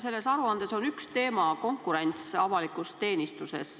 Selles aruandes on üks teema "Konkurents avalikus teenistuses".